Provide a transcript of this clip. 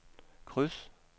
kryds